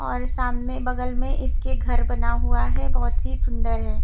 और सामने बगल में इसके घर बना हुआ है बहुत ही सुंदर है।